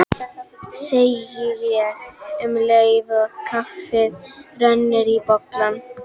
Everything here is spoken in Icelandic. segi ég um leið og kaffið rennur í bollana.